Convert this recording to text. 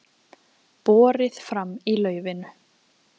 Borið fram í laufinu